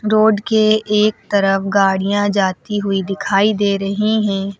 Road के एक तरफ गाड़ियां जाती हुई दिखाई दे रही हैं।